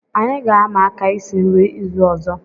Anyị ga-ama aka isi nri izu ọzọ